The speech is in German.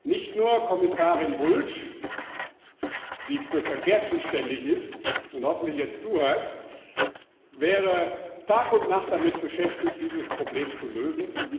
Nicht nur Kommissarin Bulc, die für Verkehr zuständig ist und hoffentlich jetzt zuhört, wäre Tag und Nacht damit beschäftigt, dieses Problem zu lösen